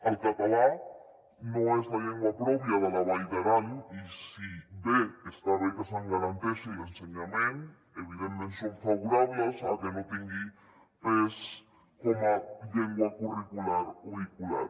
el català no és la llengua pròpia de la vall d’aran i si bé està bé que se’n garanteixi l’ensenyament evidentment som favorables a que no tingui pes com a llengua curricular o vehicular